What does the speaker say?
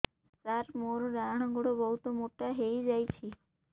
ସାର ମୋର ଡାହାଣ ଗୋଡୋ ବହୁତ ମୋଟା ହେଇଯାଇଛି